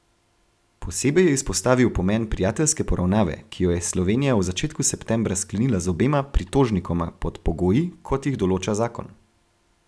Posebej je izpostavil pomen prijateljske poravnave, ki jo je Slovenija v začetku septembra sklenila z obema pritožnikoma pod pogoji, kot jih določa zakon.